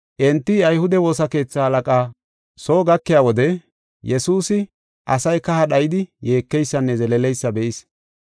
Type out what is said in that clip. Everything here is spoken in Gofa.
Enti ayhude woosa keetha halaqaa soo gakiya wode Yesuusi asay kaha dhayidi yeekeysanne zeleeleysa be7is.